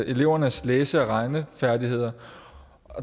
elevernes læse og regnefærdigheder